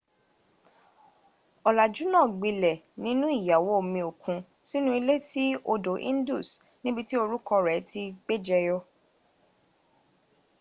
olàjú náà gbilẹ̀ nínú iyàwòomiòkun sínú ilé tí odò indus níbití orúkọ rẹ tí gbẹjẹyọ